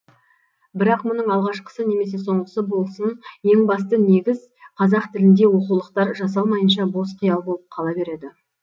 бірақ мұның алғашқысы немесе соңғысы болсын ең басты негіз қазақ тілінде оқулықтар жасалмайынша бос қиял болып қала береді